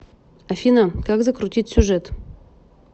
афина как закрутить сюжет